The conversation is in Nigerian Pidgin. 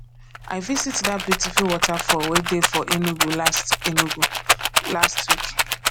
i visit dat beautiful waterfall wey dey for enugu last enugu last week